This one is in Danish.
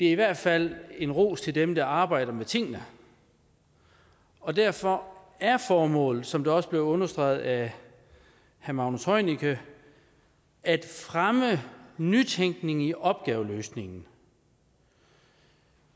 i hvert fald en ros til dem der arbejder med tingene og derfor er formålet som det også blev understreget af herre magnus heunicke at fremme nytænkning i opgaveløsningen